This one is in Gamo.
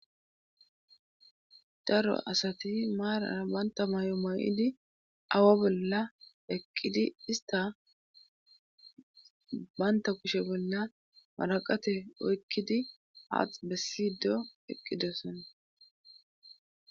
daro asati maarara banta may7o mayidi awa bolla eqqidi ista banta kushe bolla maraqate oykkidi haax bessido eqqidoson